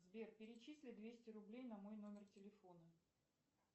сбер перечисли двести рублей на мой номер телефона